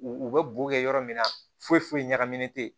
U u bɛ bo kɛ yɔrɔ min na foyi foyi ɲagaminen tɛ